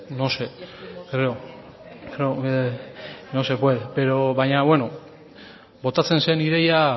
no sé creo que no se puede baina bueno botatzen zen ideia